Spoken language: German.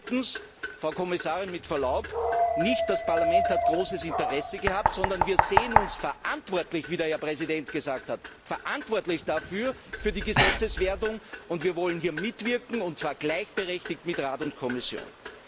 Viertens, Frau Kommissarin, mit Verlaub, nicht das Parlament hat großes Interesse gehabt, sondern wir sehen uns verantwortlich, wie der Herr Präsident gesagt hat, für die Gesetzeswerdung, und wir wollen hier mitwirken, und zwar gleichberechtigt mit dem Rat und der Kommission.